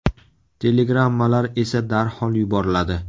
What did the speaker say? Telegrammalar esa darhol yuboriladi.